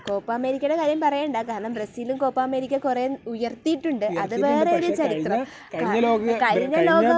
Copa അമേരിക്കയുടെ കാര്യം പറയണ്ട. കാരണം ബ്രസീലും കോപ്പ അമേരിക്ക കുറെ ഉയർത്തിയിട്ടുണ്ട്. അത് വേറെ കാര്യം. അത് വേറെ ഒരു ചരിത്രം. കഴിഞ്ഞ ലോകക......